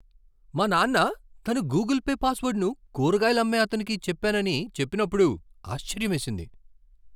మా నాన్న తన గూగుల్ పే పాస్వర్డ్ను కూరగాయలు అమ్మే అతనికి చెప్పానని చెప్పినప్పుడు ఆశ్చర్యమేసింది.